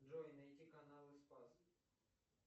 джой найди каналы спас